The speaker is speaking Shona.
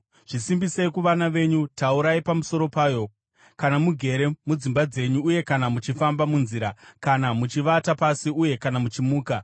Zvisimbisei kuvana venyu. Taurai pamusoro payo kana mugere mudzimba dzenyu uye kana muchifamba munzira, kana muchivata pasi uye kana muchimuka.